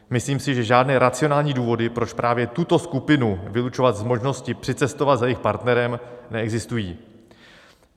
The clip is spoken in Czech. Myslím si, že žádné racionální důvody, proč právě tuto skupinu vylučovat z možnosti přicestovat za svým partnerem, neexistují.